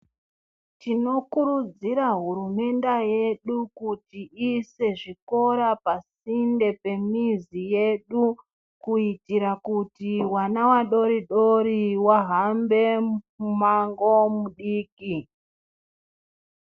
Tinokurudzira hurumende yedu kuti iise zvikora pasinde pemizi yedu kuitira kuti vana vadodori vahambe mimango midiki.